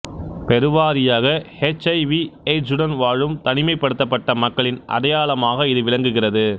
பெருவாரியாக H I விஎய்ட்ஸ்சுடன் வாழும் தனிமைபடுத்தபட்ட மக்களின் அடையாளமாக இது விளங்குகிறது